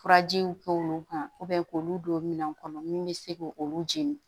Furajiw k'olu kan k'olu don minɛn kɔnɔ min bɛ se k'olu jeni